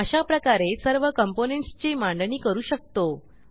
अशाप्रकारे सर्व componentsची मांडणी करू शकतो